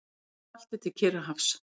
Eystrasalti til Kyrrahafs.